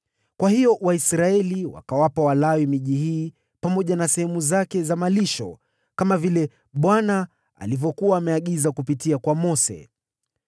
Kwa hiyo Waisraeli wakawapa Walawi miji hii pamoja na sehemu zake za malisho, kama vile Bwana alivyokuwa ameamuru kupitia kwa Mose.